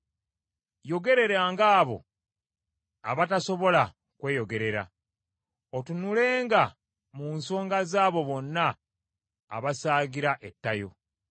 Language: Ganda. Yogereranga abo abatasobola kweyogerera, otunulenga mu nsonga z’abo bonna abaasigala ettayo.